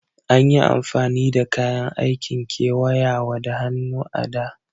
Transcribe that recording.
Anyi amfani da kayan aikin kewayawa da hannu a da.